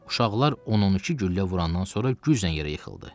Uşaqlar 12 güllə vurandan sonra güclə yerə yıxıldı.